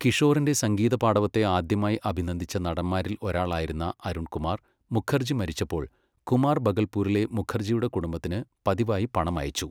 കിഷോറിൻ്റെ സംഗീതപാടവത്തെ ആദ്യമായി അഭിനന്ദിച്ച നടന്മാരിൽ ഒരാളായിരുന്ന അരുൺ കുമാർ മുഖർജി മരിച്ചപ്പോൾ, കുമാർ ഭഗൽപൂരിലെ മുഖർജിയുടെ കുടുംബത്തിന് പതിവായി പണം അയച്ചു.